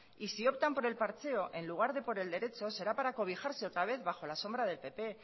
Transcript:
y si optan por el parcheo en lugar de por el derecho será para cobijarse otra vez bajo la sombra del pp